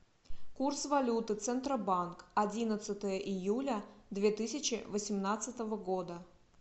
курс валюты центробанк одиннадцатое июля две тысячи восемнадцатого года